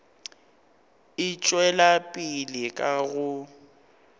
e tšwela pele ka go